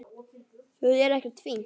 Það er ekkert fínt.